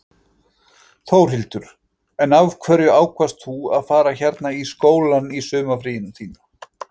Þórhildur: En af hverju ákvaðst þú að fara hérna í skólann í sumarfríinu þínu?